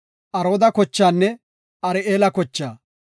Arooda kochaanne Ari7eela kochaa.